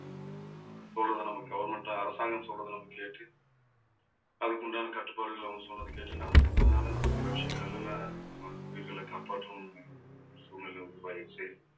சொல்றதை நம்ம government அரசாங்கம் சொல்றதே நம்ம கேட்டு அதுக்கு உண்டான கட்டுப்பாடுகளை அவங்க சொல்றதைக் கேட்டு நடந்துக்கிட்டதுனால நம்ம சில விஷயங்கள் எல்லாம் நம்ம உயிர்களை காப்பாற்றணும்ன்னு சூழ்நிலை உருவாயிருச்சு.